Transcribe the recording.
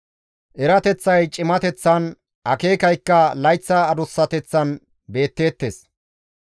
Erateththay cimateththan, akeekaykka layththa adussateththan beetteettes.